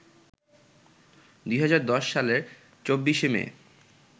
২০১০ সালের ২৪শে মে